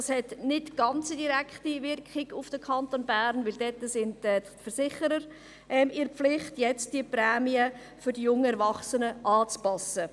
Das hat keine ganz direkte Auswirkung auf den Kanton Bern, weil jetzt die Versicherer in der Pflicht sind, die Prämien für die jungen Erwachsenen anzupassen.